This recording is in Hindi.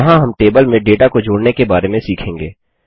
यहाँ हम टेबल में डेटा को जोड़ने के बारे में सीखेंगे